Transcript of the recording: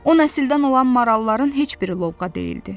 O nəsildən olan maralların heç biri lovğa deyildi.